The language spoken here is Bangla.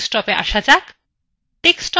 desktopএ আসা যাক